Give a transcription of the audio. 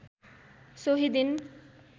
सोही दिन